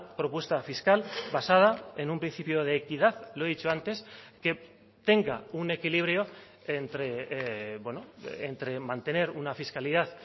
propuesta fiscal basada en un principio de equidad lo he dicho antes que tenga un equilibrio entre mantener una fiscalidad